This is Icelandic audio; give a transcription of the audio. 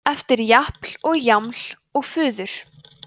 eftir japl og jaml og fuður